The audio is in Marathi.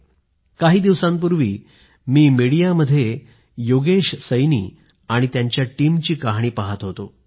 आता काही दिवसांपूर्वी मी मीडियामध्ये योगेश सैनी आणि त्यांच्या टीमची कहाणी पाहत होतो